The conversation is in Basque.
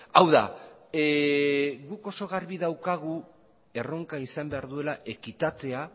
hau da guk oso garbi daukagu erronka izan behar duela ekitatea